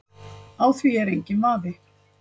Á því er enginn vafi